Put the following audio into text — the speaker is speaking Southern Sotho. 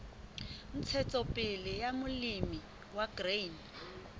ntshetsopele ya molemi wa grain